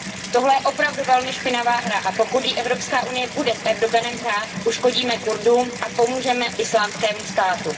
Tohle je opravdu velmi špinavá hra a pokud ji Evropská unie bude s Erdoganem hrát, uškodíme Kurdům a pomůžeme Islámskému státu.